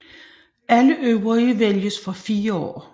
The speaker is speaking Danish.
Alle øvrige vælges for fire år